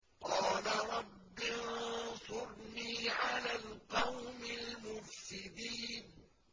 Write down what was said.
قَالَ رَبِّ انصُرْنِي عَلَى الْقَوْمِ الْمُفْسِدِينَ